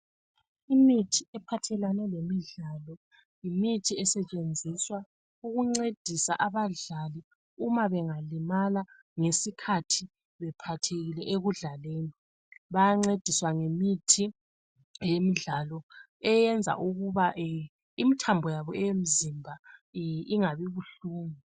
Imithi ephathelane lemidlalo yimithi esetshenziswa ukuncedisa abadlali Uma bengalimala ngesikhathi bephathekile ekudlaleni. Bayancediswa ngemithi eyemdlalo eyenza ukuba eh imthambo yabo eyemzimba ingabi buhlungu.